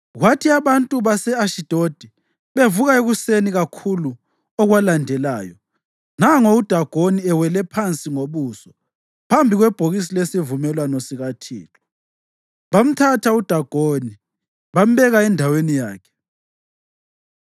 Kwathi abantu base-Ashidodi bevuka ekuseni kakhulu okwalandelayo, nango uDagoni, ewele phansi ngobuso phambi kwebhokisi lesivumelwano sikaThixo! Bamthatha uDagoni bambeka endaweni yakhe.